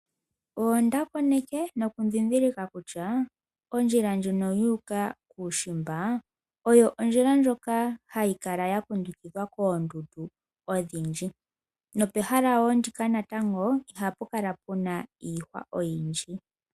Onda koneke noku ndhindhilika kutya, ondjila ndjono yu uka kuushimba oyo ondjila ndjoka hayi kala ya kundukidhwa koondundu odhindji, nopehala wo ndika natango ohapu kala puna iihwa oyindji.